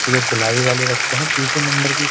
ये जो गुलाबी वाले रखे हैं ना तीसरे नंबर की --